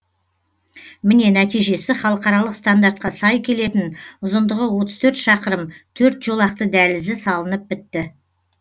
міне нәтижесі халықаралық стандартқа сай келетін ұзындығы отыз төрт шақырым төрт жолақты дәлізі салынып бітті